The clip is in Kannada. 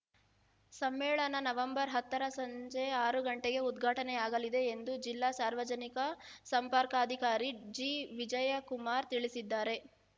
ಸಮ್ಮೇಳನ ನವೆಂಬರ್ ಹತ್ತರ ಸಂಜೆ ಆರು ಗಂಟೆಗೆ ಉದ್ಘಾಟನೆಯಾಗಲಿದೆ ಎಂದು ಜಿಲ್ಲಾ ಸಾರ್ವಜನಿಕ ಸಂಪರ್ಕಾಧಿಕಾರಿ ಜಿವಿಜಯಕುಮಾರ್‌ ತಿಳಿಸಿದ್ದಾರೆ